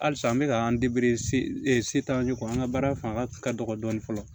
Halisa an bɛ ka an an ka baara fanga ka dɔgɔ dɔɔni fɔlɔ